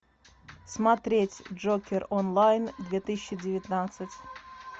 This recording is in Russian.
смотреть джокер онлайн две тысячи девятнадцать